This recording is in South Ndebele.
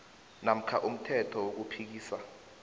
namkha umthelo wokuphikisa